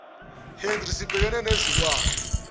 henry sibhekene nezilwane